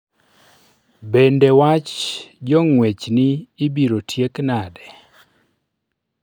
Bende wach jong'wechni ibiro tiek nade.